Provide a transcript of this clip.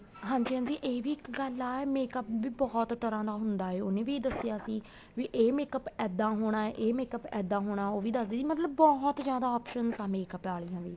ਹਾਂਜੀ ਹਾਂਜੀ ਇਹ ਵੀ ਇੱਕ ਗੱਲ ਆ makeup ਵੀ ਬਹੁਤ ਤਰ੍ਹਾਂ ਦਾ ਹੁੰਦਾ ਉਹਨੇ ਵੀ ਦੱਸਿਆਂ ਸੀ ਵੀ ਏ makeup ਇੱਦਾਂ ਹੋਣਾ ਏ makeup ਇੱਦਾਂ ਹੋਣਾ ਉਹ ਵੀ ਦੱਸਦੀ ਸੀ ਮਤਲਬ ਬਹੁਤ ਜਿਆਦਾ option ਆ makeup ਆਲੀਆ ਵੀ